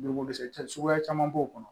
Dugukolo sɛgɛn suguya caman b'o kɔnɔ